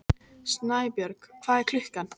Snæbjörg, hvað er klukkan?